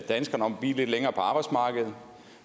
danskerne om at blive lidt længere på arbejdsmarkedet